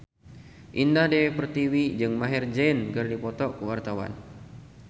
Indah Dewi Pertiwi jeung Maher Zein keur dipoto ku wartawan